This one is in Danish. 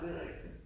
Det rigtigt